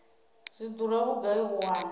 zwi dura vhugai u wana